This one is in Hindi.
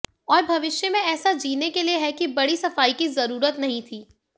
और भविष्य में ऐसा जीने के लिए है कि बड़ी सफाई की जरूरत नहीं थी